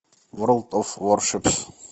ворлд оф варшипс